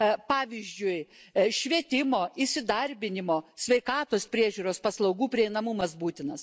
Pavyzdžiui, švietimo, įsidarbinimo, sveikatos priežiūros paslaugų prieinamumas būtinas.